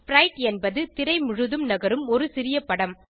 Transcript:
ஸ்பிரைட் என்பது திரை முழுதும் நகரும் ஒரு சிறிய படம்